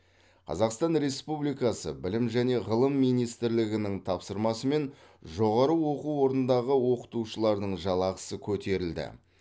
қазақстан республикасы білім және ғылым министрлігінің тапсырмасымен жоғары оқу орнындағы оқытушылардың жалақысы көтерілді